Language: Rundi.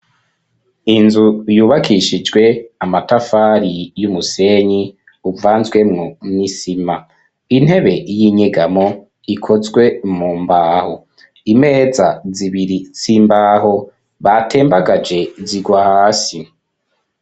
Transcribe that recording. Inzu yubakishijwe amatafari y'umusenyi uvanzwemwo n'isima. Intebe y'inyegamo ikozwe mu mbaho. Imeza zibiri z'imbaho batembagaje zigwa hasi.